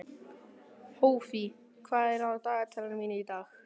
Hófí, hvað er á dagatalinu mínu í dag?